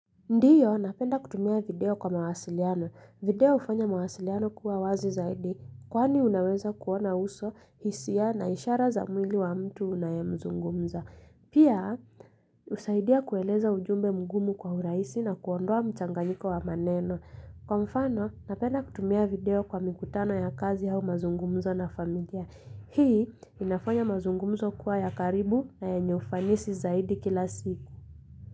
Ndio, napenda kutumia video kwa mawasiliano. Video hufanya mawasiliano kuwa wazi zaidi, kwani unaweza kuona uso, hisia na ishara za mwili wa mtu unayemzungumza. Pia, husaidia kueleza ujumbe mgumu kwa urahisi na kuondoa mchanganyiko wa maneno. Kwa mfano, napenda kutumia video kwa mikutano ya kazi au mazungumzo na familia. Hii, inafanya mazungumzo kuwa ya karibu na yenye ufanisi zaidi kila siku.